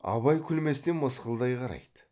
абай күлместен мысқылдай қарайды